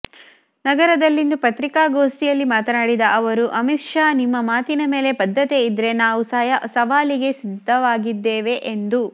ನಗರದಲ್ಲಿಂದು ಪತ್ರಿಕಾಗೋಷ್ಠಿಯಲ್ಲಿ ಮಾತನಾಡಿದ ಅವರು ಅಮೀತ್ ಶಾ ನಿಮ್ಮ ಮಾತಿನ ಮೇಲೆ ಬದ್ಧತೆ ಇದ್ರೆ ನಾವು ಸವಾಲಿಗೆ ಸಿದ್ಧವಾಗಿದ್ದೆ ಎಂದು